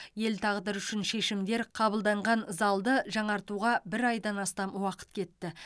ел тағдыры үшін шешімдер қабылданған залды жаңартуға бір айдан астам уақыт кетті